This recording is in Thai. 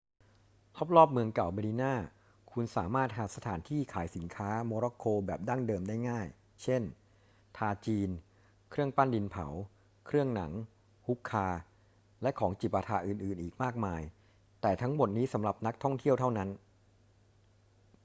รอบ ๆ เมื่องเก่าเมดินา คุณสามารถหาสถานที่ขายสินค้าโมร็อกโกแบบดั้งเดิมได้ง่าย เช่น ทาจีน เครื่องปั้นดินเผา เครื่องหนัง ฮุคคา และของจิปาถะอื่น ๆ อีกมากมาย แต่ทั้งหมดนี้สำหรับนักท่องเที่ยวเท่านั้น